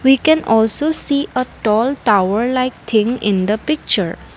we can also see at tall tower like thing in the picture.